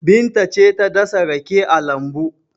Binta ce ta dasa rake a lambu.